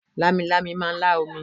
Lámilámi máà ń lá omi